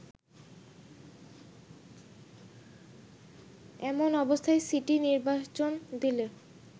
এমন অবস্থায় সিটি নির্বাচন দিলে